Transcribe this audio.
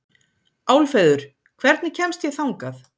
Álfheiður, hvernig kemst ég þangað?